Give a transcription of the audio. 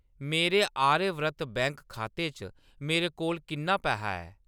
मेरे आर्यव्रत बैंक खाते च मेरे कोल किन्ना पैहा ऐ ?